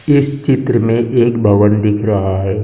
इस चित्र में एक भवन दिख रहा है।